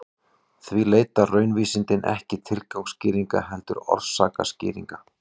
Því leita raunvísindin ekki tilgangsskýringa heldur orsakaskýringa.